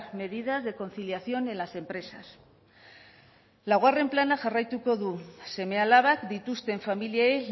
medidas de conciliación en las empresas laugarren plana jarraituko du seme alabak dituzten familiei